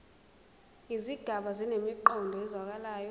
izigaba zinemiqondo ezwakalayo